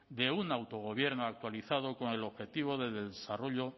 de un autogobierno actualizado con el objetivo de desarrollo